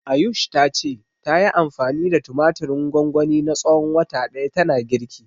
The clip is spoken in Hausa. Ayush ta ce, tayi anfani da tumatirin gwangwani na tsawon wata ɗaya tana girki.